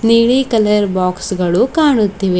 ನೀಲಿ colour box ಗಳು ಕಾಣುತ್ತಿವೆ.